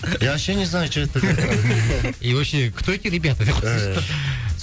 я вообще не знаю что это такое и вообще кто эти ребята деп қойсаңшы